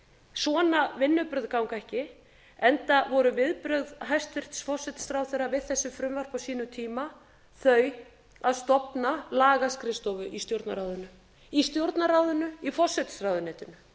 svona vinnubrögð ganga ekki enda voru viðbrögð hæstvirts forsætisráðherra við þessu frumvarpi á sínum tíma þau að stofna lagaskrifstofu í stjórnarráðinu í stjórnarráðinu í forsætisráðuneytinu